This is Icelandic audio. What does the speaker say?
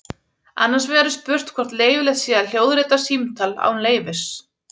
Annars vegar er spurt hvort leyfilegt sé að hljóðrita símtal án leyfis.